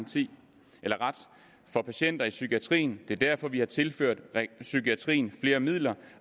for patienter i psykiatrien det er derfor vi har tilført psykiatrien flere midler